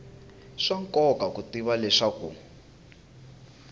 swa nkoka ku tiva leswaku